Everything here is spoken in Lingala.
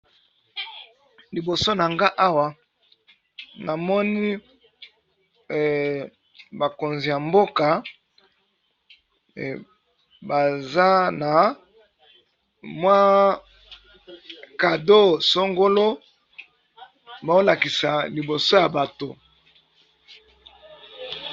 Liboso na nga awa namoni bakonzi ya mboka baza na mwa cado sangolo baolakisa liboso ya bato.